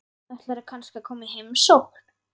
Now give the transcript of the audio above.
Ætlarðu kannski að koma í heimsókn?